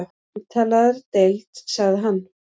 Umtalaðri deild sagði hann.